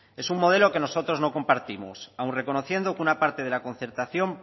es un modelo que nosotros no compartimos aun reconociendo que una parte de la concertación